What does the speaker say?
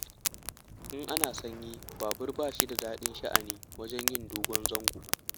In ana sanyi babur ba shi da daɗin sha'ani wajen yin dogon zango.